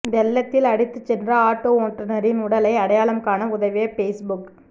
வெள்ளத்தில் அடித்துச் சென்ற ஆட்டோ ஓட்டுநரின் உடலை அடையாளம் காண உதவிய பேஸ்புக்